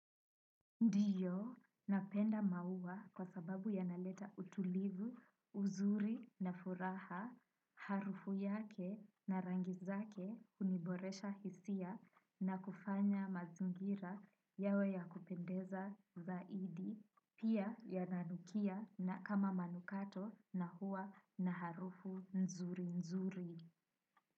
Ndio napenda mau kwasababu yanaleta utulivu, uzuri na furaha harufu yake na rangi zake uboresha hisia na kufanya mazigira yawe yakupendeza zaidi pia yananukia kama manukato na huwa na harufu nzuri nzuri.